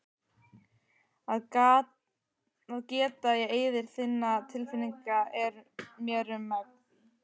Að geta í eyður þinna tilfinninga er mér um megn.